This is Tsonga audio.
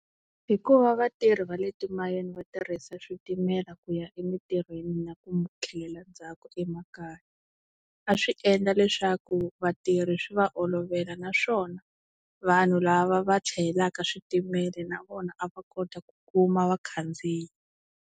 Hikuva vatirhi va le timayini va tirhisa switimela ku ya emintirhweni na ku tlhelela ndzhaku emakaya a swi endla leswaku vatirhi swi va olovela naswona vanhu lava va chayelaka switimela na vona a va kota ku kuma vakhandziyi.